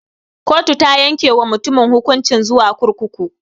Kotu ta yanke wa mutumin hukunci zuwa kurkuku.